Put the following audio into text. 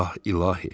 Ah, İlahi.